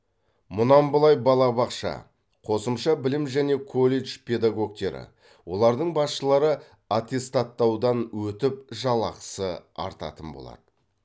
мұнан былай балабақша қосымша білім және колледж педагогтері олардың басшылары аттестаттаудан өтіп жалақысы артатын болады